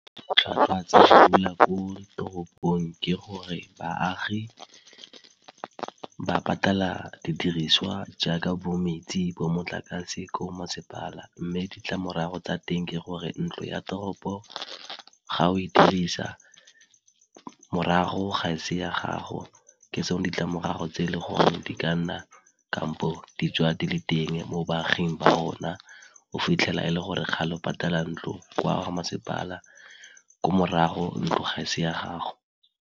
Ditlhwatlhwa tsa go dula ko toropong ke gore baagi ba patala didiriswa jaaka bo metsi, bo motlakase ko masepala. Mme ditlamorago tsa teng ke gore ntlo ya toropo ga o e dirisa morago ga se ya gago ke tsone ditlamorago tse e le gore di ka nna kampo di tswa di le teng mo baaging ba rona, o fitlhela e le gore ga le patala ntlo kwa masepala ko morago ntlo ga se ya gago.